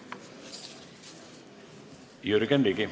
Jürgen Ligi.